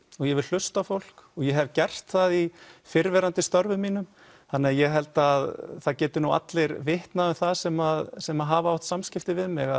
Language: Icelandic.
ég vil hlusta á fólk og ég hef gert það í fyrrverandi störfum mínum þannig ég held að það geti nú allir vitnað um það sem sem hafa átt samskipti við mig